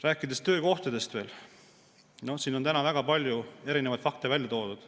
Rääkides töökohtadest veel, siin on täna väga palju erinevaid fakte välja toodud.